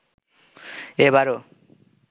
এ বারও